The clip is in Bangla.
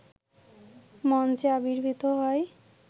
মঞ্চে আবির্ভূত হয়